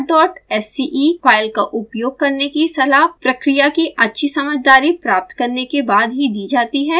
आपको start dot sce file का उपयोग करने की सलाह प्रक्रिया की अच्छी समझदारी प्राप्त करने के बाद ही दी जाती है